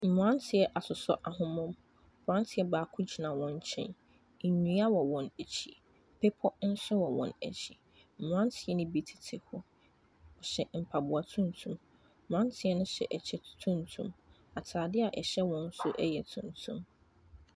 Mmaranteɛ asoso ahoma mu abaranteɛ baako no nkyɛn ndua wɔ wɔn akyi bepɔw nso wɔ wɔn akyi mmaranteɛ bi tete hɔ hyɛ mpaboa tuntum mmaranteɛ hyɛ kyɛw tuntum ataadeɛ ɛhyɛ wɔn nso yɛ tuntum.